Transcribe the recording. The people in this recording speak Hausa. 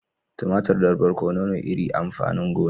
Tumatir da barkono ne iri amfanin gona.